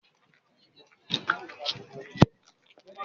Njẹ awọn baba yoo tẹsiwaju lati ni akiyesi bi awọn olori idile ni awọn iran iwaju bi?